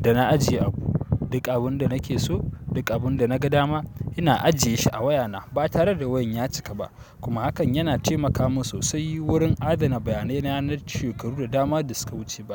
da na ajiye abu, duk abin da nake so, duk abin da naga dama ina ajiye shi a wayana ba tare da wayan ya cika ba kuma hakan yana taimaka min sosai wurin adana bayanai na yanar shekaru da dama da suka wuce ba.